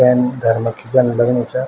जैन धर्म की जन लगणु च।